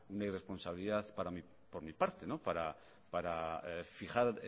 una irresponsabilidad por mi parte para fijar